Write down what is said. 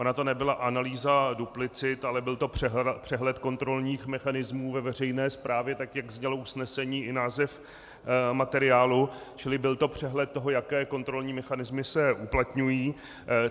Ona to nebyla analýza duplicit, ale byl to přehled kontrolních mechanismů ve veřejné správě, tak jak znělo usnesení i název materiálu, čili byl to přehled toho, jaké kontrolní mechanismy se uplatňují.